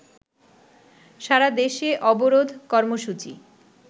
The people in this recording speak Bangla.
সারাদেশে অবরোধ কর্মসূচি